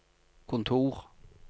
kontor